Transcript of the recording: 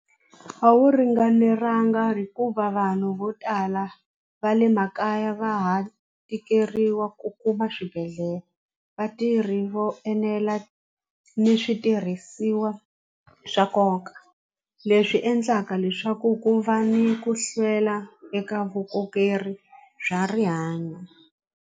A wu ringanelanga hikuva vanhu vo tala va le makaya va ha tikeriwa ku kuma swibedhlele vatirhi vo enela ni switirhisiwa swa nkoka leswi endlaka leswaku ku va ni ku hlwela eka bya rihanyo.